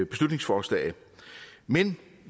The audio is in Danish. beslutningsforslag men